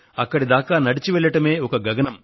అక్కడిదాకా నడిచి వెళ్లడమే ఒక గగనం